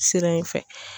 Sira in fɛ